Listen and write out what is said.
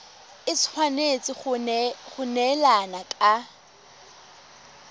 e tshwanetse go neelana ka